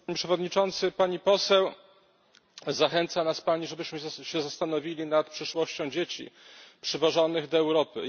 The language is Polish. Panie Przewodniczący! Pani poseł! Zachęca nas pani, żebyśmy się zastanowili nad przyszłością dzieci przywożonych do Europy.